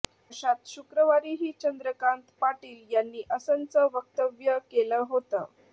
अशात शुक्रवारीही चंद्रकांत पाटील यांनी असंच वक्तव्य केलं होतं